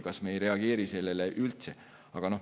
Kas me ei reageeri sellele üldse?